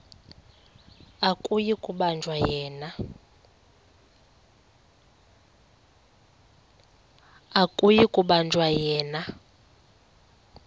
akuyi kubanjwa yena